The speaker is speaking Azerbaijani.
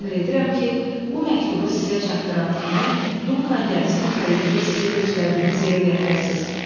Əmr edirəm ki, bu məktubu sizə çatdıran kimi Dunkan gəmisini xəritədə sizə göstərdiyimiz yerə gətirəsiniz.